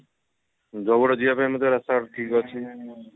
ଜଉଗଡ ଯିବା ପାଇଁ ମଧ୍ୟ ରାସ୍ତା ଘାଟ ଠିକ ଅଛି